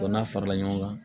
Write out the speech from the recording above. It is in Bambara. n'a farala ɲɔgɔn kan